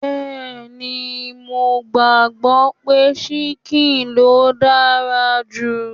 Bẹẹni, mo gbàgbọ́ pé ṣíkìn ló dára jù